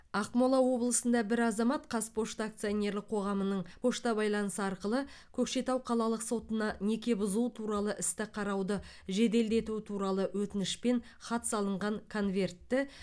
ақмола облысында бір азамат қазпошта акционерлік қоғамының пошта байланысы арқылы көкшетау қалалық сотына неке бұзу туралы істі қарауды жеделдету туралы өтінішпен хат салынған конвертті